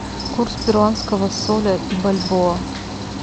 курс перуанского соля и бальбоа